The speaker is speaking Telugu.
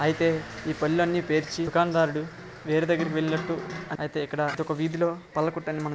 అయితే ఈ పళ్ళన్నీ పేర్చి ఈ దుకాణ దారుడు వేరే దగ్గరికి వెళ్ళినట్టు అయితే ఇక్కడ ఒక వీధిలో పళ్ళ కొట్టని--